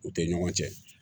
U tɛ ɲɔgɔn cɛn